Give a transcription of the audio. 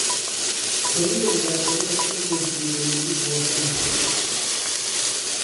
kianyoru kang'weng'et eng' betunyu nekibwoten siget.